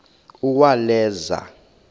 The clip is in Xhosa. uwaleza